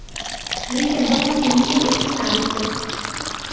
lekin birmuncha yengil o‘tishini aytdi.